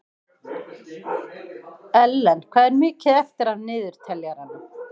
Ellen, hvað er mikið eftir af niðurteljaranum?